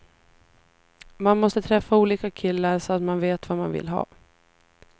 Man måste träffa olika killar så att man vet vad man vill ha.